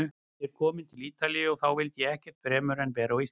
Ég var kominn til Ítalíu- en þá vildi ég ekkert fremur en vera á Íslandi.